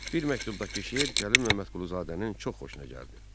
Bir məktubdakı şeir Cəlil Məmmədquluzadənin çox xoşuna gəldi.